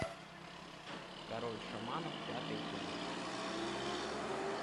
король шаманов пятый эпизод